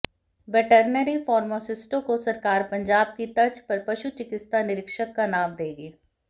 veterinary फार्मासिस्टों को सरकार पंजाब की तर्ज पर पशु चिकित्सा निरीक्षक का नाम देगी